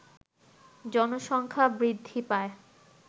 জনসংখ্যা বৃদ্ধি পায়